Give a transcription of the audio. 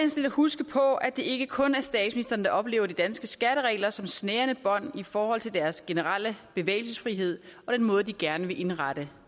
huske på at det ikke kun er statsministeren der oplever de danske skatteregler som snærende bånd i forhold til deres generelle bevægelsesfrihed og den måde de gerne vil indrette